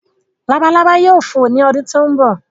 Labalábá yóò fò ní ọdún tí ó ń bọ̀